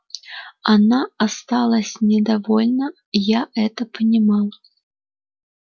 она осталась недовольна я это понимал